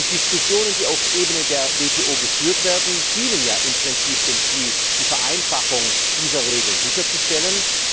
Die Diskussionen, die auf Ebene der WTO geführt werden, dienen ja im Prinzip dem Ziel, die Vereinfachung dieser Regeln sicherzustellen.